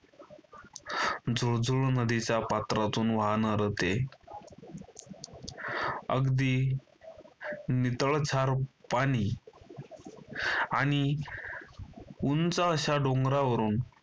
झुळझुळ नदीच्या पात्रातून वाहणार ते अगदी नितळक्षार पाणी आणि उंच अशा डोंगरावरून